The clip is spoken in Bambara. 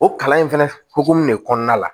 O kalan in fɛnɛ hokumun de kɔnɔna la